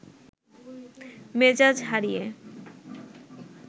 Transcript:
মেজাজ হারিয়ে